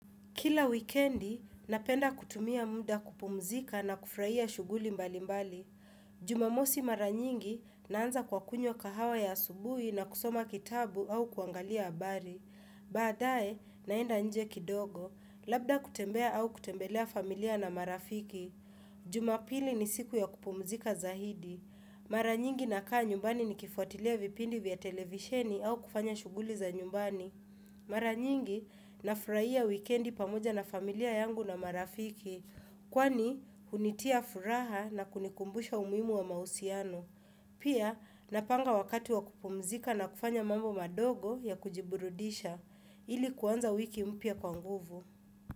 Kila wikendi, napenda kutumia muda kupumzika na kufurahia shughuli mbali mbali. Jumamosi mara nyingi, naanza kwa kunywa kahawa ya asubuhi na kusoma kitabu au kuangalia abari. Baadae, naenda nje kidogo, labda kutembea au kutembelea familia na marafiki. Jumapili ni siku ya kupumzika zaidi. Mara nyingi nakaa nyumbani nikifuatilia vipindi vya televisheni au kufanya shughuli za nyumbani. Mara nyingi nafurahia wikendi pamoja na familia yangu na marafiki kwani hunitia furaha na kunikumbusha umuhimu wa mahusiano. Pia napanga wakati wa kupumzika na kufanya mambo madogo ya kujiburudisha ili kuanza wiki mpya kwa nguvu.